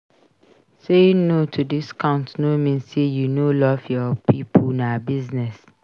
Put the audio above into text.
Saying no to discounts no mean say you no love your pipo na business.